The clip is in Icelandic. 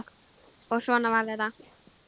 Og svona var þetta.